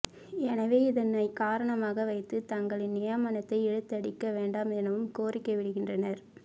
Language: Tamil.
எனவே இதனை காரணமாக வைத்து தங்களின் நியமனத்தை இழுத்தடிக்க வேண்டாம் எனவும் கோரிக்கை விடுக்கின்றனர்